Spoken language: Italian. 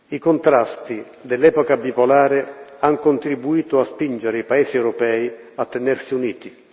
I contrasti dell'epoca bipolare han contribuito a spingere i paesi europei a tenersi uniti.